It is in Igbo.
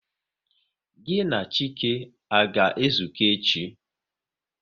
Gịnị na Chike, a ga ezuko echi?